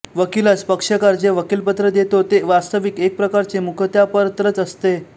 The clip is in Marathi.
वकिलास पक्षकार जे वकीलपत्र देतो ते वास्तविक एकप्रकारचे मुखत्यापरत्रच असते